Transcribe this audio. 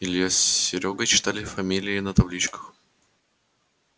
илья с серёгой читали фамилии на табличках